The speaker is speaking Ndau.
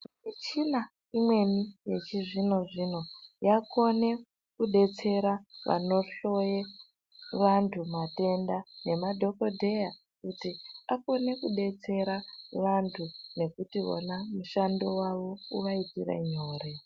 Michina imweni yechizvino zvino yaakuone kudetsera vanohloye vanthu matenda nemadhokodheya kuti akone kudetsera vanthu nekuti vona mushando wavo uvaitire nyore.